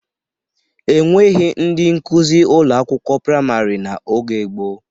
E nweghi ndị nkuzi ụlọ akwụkwọ praịmarị n'oge gboo.